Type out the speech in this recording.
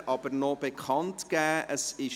Vorher gebe ich aber noch Folgendes bekannt: